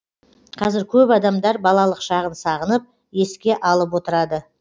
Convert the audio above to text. қазір көп адамдар балалық шағын сағынып еске алып отырады